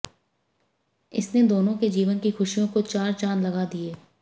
इसने दोनो के जीवन की खुशियों को चार चांद लगा दिये